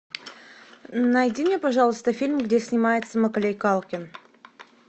найди мне пожалуйста фильм где снимается маколей калкин